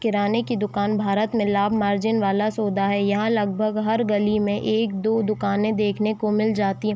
किराने की दुकान भारत मिलाब मार्जिन वाला सोदा है यहाँ-यहाँ लगभग हर गली में एक दो दुकाने देखने को मिल जाती है।